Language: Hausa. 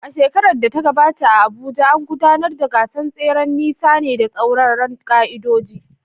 A shekarar da ta gabata a Abuja, an gudanar da gasar tseren nisan ne da tsauraran ƙa’idoji.